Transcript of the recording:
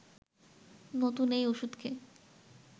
নতুন এই ওষুধকে